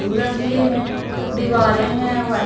के हैं दीवारें हैं वाइ --